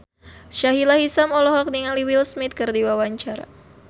Sahila Hisyam olohok ningali Will Smith keur diwawancara